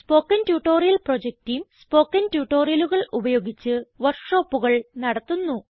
spoken tutorial project team spoken ട്യൂട്ടോറിയലുകൾ ഉപയോഗിച്ച് വർക്ക് ഷോപ്പുകൾ നടത്തുന്നു